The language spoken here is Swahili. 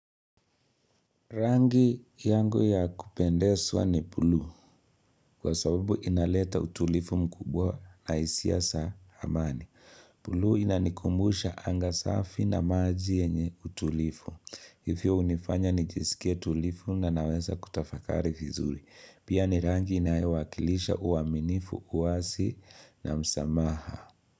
Rangi yangu ya kupendeswa ni pulu kwa sababu inaleta utulifu mkubwa na isia sa amani. Pulu inanikumbusha anga safi na maji enye utulifu. Hivyo unifanya nijisike tulifu na naweza kutafakari fizuri. Pia ni rangi inayowakilisha uaminifu uwasi na msamaha.